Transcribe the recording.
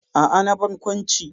A'a, na barkwanci.